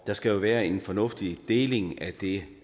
der skal jo være en fornuftig deling af det